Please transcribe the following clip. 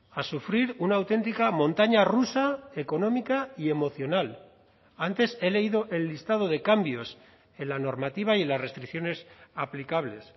a sufrir una auténtica montaña rusa económica y emocional antes he leído el listado de cambios en la normativa y las restricciones aplicables